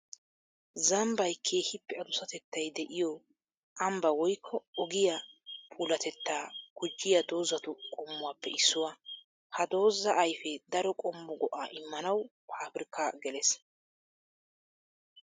Zambbay keehippe adussatettay de'iyo ambba woykko ogiya puulatetta gujiya doozattu qommuwappe issuwa. Ha dooza ayfe daro qommo go'a immanawu paabirkka gelees.